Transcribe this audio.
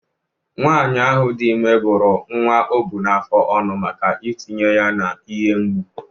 Nwanyị ahụ dị ime bụ́ru nwa o bu n’afọ ọnụ maka itinye ya n’ihe mgbu.